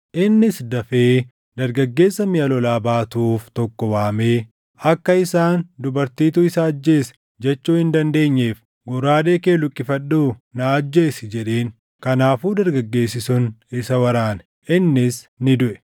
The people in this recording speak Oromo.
Innis dafee dargaggeessa miʼa lolaa baatuuf tokko waamee, “Akka isaan, ‘dubartiitu isa ajjeese’ jechuu hin dandeenyeef goraadee kee luqqifadhuu na ajjeesi” jedheen. Kanaafuu dargaggeessi sun isa waraane; innis ni duʼe.